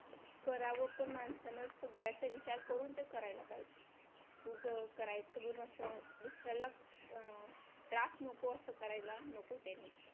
करावं पण माणसांना सगळ्याचा विचार करून तर करायला पाहिजे उभं करायचं दुसऱ्याला अं त्रास नको असं करायला नको त्यांनी